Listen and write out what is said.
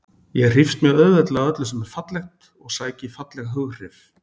Ég hrífst mjög auðveldlega af öllu sem er fallegt og sæki í falleg hughrif.